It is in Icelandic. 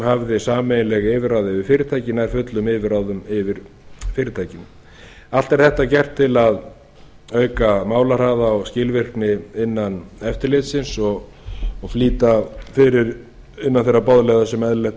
hafði sameiginleg yfirráð yfir fyrirtæki nær fullum yfirráðum yfir fyrirtækinu allt er þetta gert til að auka málahraða og skilvirkni innan eftirlitsins og flýta fyrir innan þeirra boðleiða sem eðlilegt er að það sé gert